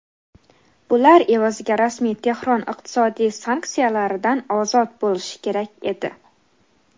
Bular evaziga rasmiy Tehron iqtisodiy sanksiyalardan ozod bo‘lishi kerak edi.